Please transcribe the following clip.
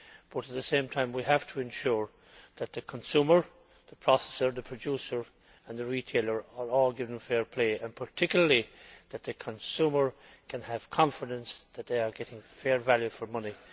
but at the same time we have to ensure that the consumer, the processor, the producer and the retailer are all given fair play, and particularly that consumers can have confidence that they are getting fair value for money.